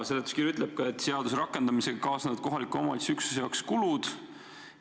Seletuskiri ütleb ka, et seaduse rakendamisega kaasnevad kohaliku omavalitsuse üksuse jaoks kulud.